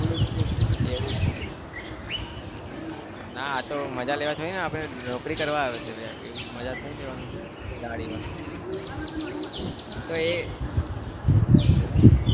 એવું છે ના આતો મજા લેવા થોડીને આપણે નોકરી કરવા આવ્યા છીએ. એવું માજા થોડી લેવાની દાઢીમાં તો એ